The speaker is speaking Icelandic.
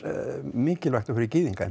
mikilvægt og fyrir gyðinga